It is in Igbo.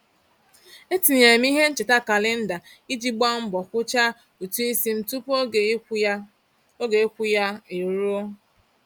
E tinyere m ihe ncheta kalenda iji gba mbọ kwucha ụtụisi m tụpụ oge ịkwụ ya oge ịkwụ ya e ruo.